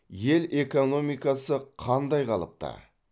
ел экономикасы қандай қалыпта